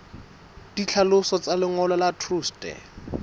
ditlhaloso tsa lengolo la truste